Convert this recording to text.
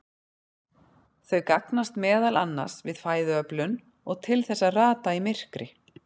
Þau gagnast meðal annars við fæðuöflun og til þess að rata í myrkri.